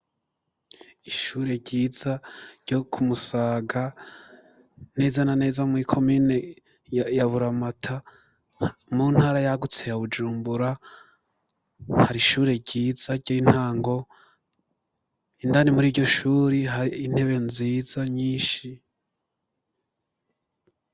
Ishure ryiza, ryo ku Musaga, neza na neza, mw'ikomine ya Buramata, mu ntara yagutse ya Bujumbura; hari ishure ryiza, ry'intango, indani muri iryo shuri, hari intebe nziza, nyinshi.